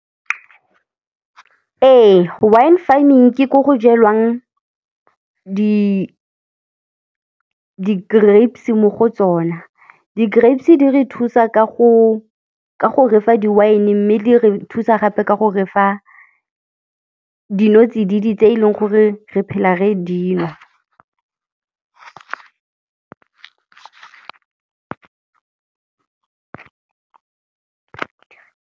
Ee, wine farming ke ko go jelwang di-grapes mo go tsona. Di grapes di re thusa ka go ke go re fa di wine mme di re thusa gape ke gore fa dinotsididi tse eleng gore re phela re di nwa.